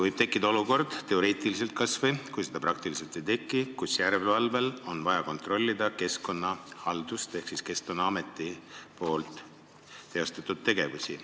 Võib tekkida olukord, kas või teoreetiliselt – kui seda ka praktiliselt ei teki –, kus järelevalvel on vaja kontrollida keskkonnahaldust ehk Keskkonnaameti tegevusi.